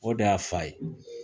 O de y'a fa ye